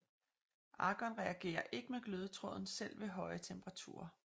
Argon reagerer ikke med glødetråden selv ved høje temperaturer